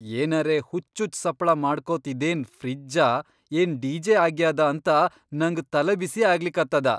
ಏನರೇ ಹುಚ್ಚುಚ್ಚ್ ಸಪ್ಪಳಾ ಮಾಡ್ಕೋತ್ ಇದೇನ್ ಫ್ರಿಜ್ಜಾ ಏನ್ ಡಿ.ಜೆ. ಆಗ್ಯಾದಾ ಅಂತ ನಂಗ್ ತಲಿಬಿಸಿ ಆಗ್ಲಿಕತ್ತದ!